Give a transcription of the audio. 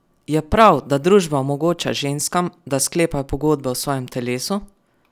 Je prav, da družba omogoča ženskam, da sklepajo pogodbe o svojem telesu?